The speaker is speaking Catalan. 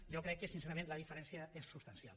jo crec que sincerament la diferència és substancial